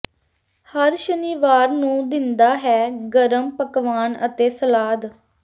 ਹਰ ਸ਼ਨੀਵਾਰ ਨੂੰ ਦਿੰਦਾ ਹੈ ਗਰਮ ਪਕਵਾਨ ਅਤੇ ਸਲਾਦ